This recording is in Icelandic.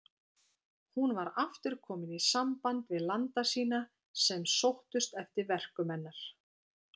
Hún var aftur komin í samband við landa sína sem sóttust eftir verkum hennar.